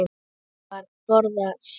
Og Vala borðaði sjö.